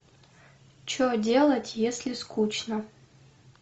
что делать если скучно